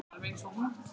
Alveg eins og hún.